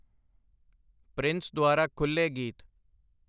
Prince ਦੁਆਰਾ ਖੁੱਲ੍ਹੇ ਗੀਤ।